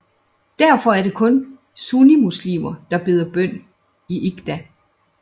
Derfor er det kun sunnimuslimer der beder bøn i en Eidgah